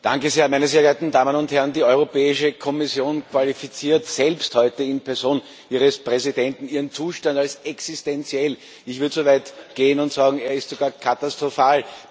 Frau Präsidentin, sehr geehrte Damen und Herren! Die Europäische Kommission qualifiziert selbst heute in Person ihres Präsidenten ihren Zustand als existenziell. Ich würde so weit gehen und sagen Er ist sogar katastrophal.